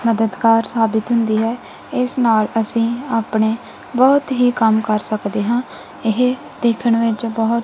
ਮਦਦਗਾਰ ਸਾਬਿਤ ਹੁੰਦੀ ਹੈ ਇਸ ਨਾਲ ਅੱਸੀ ਆਪਣੇ ਬਹੁਤ ਹੀ ਕੰਮ ਕਰ ਸਕਦੇ ਹਨ ਇਹ ਦੇਖਣ ਵਿੱਚ ਬਹੁਤ--